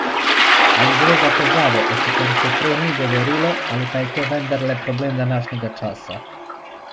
Ali gre za težavo, o kateri se prej ni govorilo, ali pa je to vendarle problem današnjega časa?